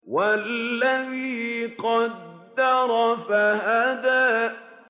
وَالَّذِي قَدَّرَ فَهَدَىٰ